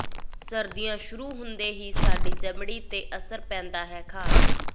ਸਰਦੀਆਂ ਸ਼ੁਰੂ ਹੁੰਦੇ ਹੀ ਸਾਡੀ ਚਮੜੀ ਦੇ ਅਸਰ ਪੈਂਦਾ ਹੈ ਖਾਸ